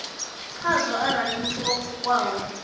khazwo arali muthu o pfukaho